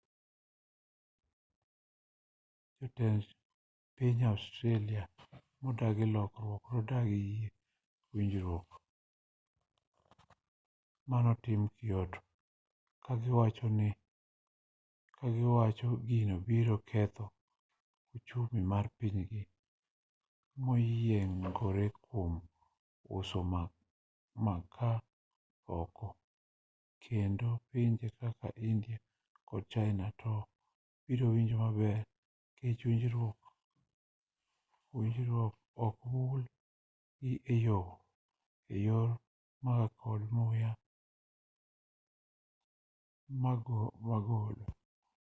jotend piny australia modagi lokruok nodagi yie winjruok manotim kyoto kagiwachoni gino biro ketho ochumi mar pinygi moyiengore kuom uso makaa oko kendo pinje kaka india kod china to biro winjo maber nikech winjruok ok mul gi eyor makaa kod muya mogolo